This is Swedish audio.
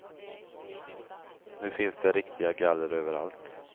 Nu finns det riktiga galler överallt.